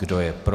Kdo je pro?